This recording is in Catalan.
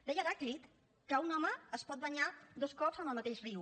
deia heràclit que un home es pot banyar dos cops en el mateix riu